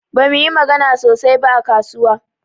Bamu yi magana sosai ba a kasuwa.